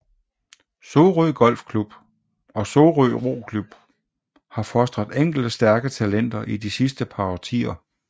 Sorø Golfklub og Sorø Roklub har fostret enkelte stærke talenter i de sidste par årtier